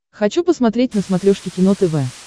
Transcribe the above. хочу посмотреть на смотрешке кино тв